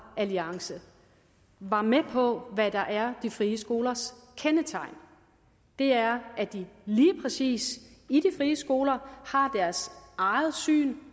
alliance var med på hvad der er de frie skolers kendetegn og det er at de lige præcis i de frie skoler har deres eget syn